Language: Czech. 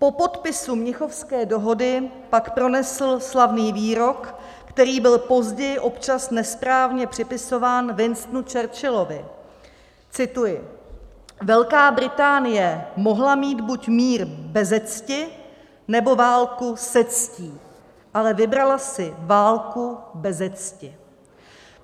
Po podpisu Mnichovské dohody pak pronesl slavný výrok, který byl později občas nesprávně připisován Winstonu Churchillovi - cituji: "Velká Británie mohla mít buď mír beze cti, nebo válku se ctí, ale vybrala si válku beze cti."